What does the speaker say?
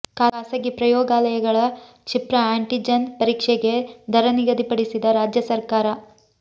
ಖಾಸಗಿ ಪ್ರಯೋಗಾಲಯಗಳ ಕ್ಷಿಪ್ರ ಆ್ಯಂಟಿಜೆನ್ ಪರೀಕ್ಷೆಗೆ ದರ ನಿಗದಿ ಪಡಿಸಿದ ರಾಜ್ಯ ಸರ್ಕಾರ